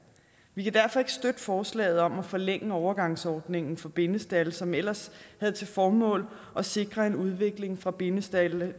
vi kan derfor ikke støtte forslaget om at forlænge overgangsordningen for bindestalde som ellers havde til formål at sikre en udvikling fra bindestalde